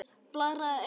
Blaðra eða Ek?